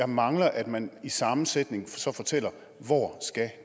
mangler at man i samme sætning fortæller hvor